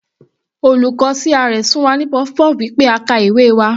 Olùkọ́ CRS fún wa ní puff-puff wí pé a ka ìwé wa.